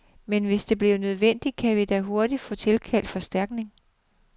Men hvis det bliver nødvendigt, kan vi da hurtigt få tilkaldt forstærkning.